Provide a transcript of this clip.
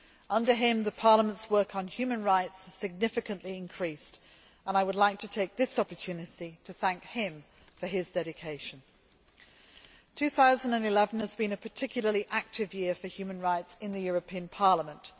Under him, Parliament's work on human rights has significantly increased and I would like to take this opportunity to thank him for his dedication. 2011 has been a particularly active year for human rights in Parliament.